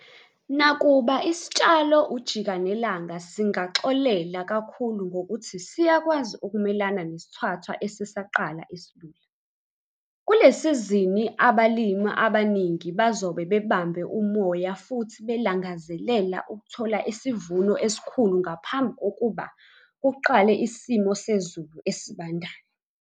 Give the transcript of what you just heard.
Nakuba isitshalo ujikanelanga singaxolela kakhulu ngokuthi siyakwazi ukumelana nesithwathwa esisaqala esilula, kule sizini abalimi abaningi bazobe bebambe umoya futhi belangazelela ukuthola isivuno esikhulu ngaphambi kokuba kuqale isimo sezulu esibandayo!